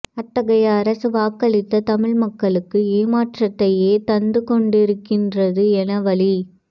அத்தகைய அரசு வாக்களித்த தமிழ் மக்களுக்கு ஏமாற்றத்தையே தந்துகொண்டிருக்கின்றது என வலி